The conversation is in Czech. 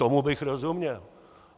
Tomu bych rozuměl.